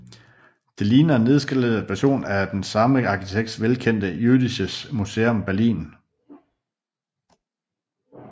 Det ligner en nedskaleret version af den samme arkitekts velkendte Jüdisches Museum Berlin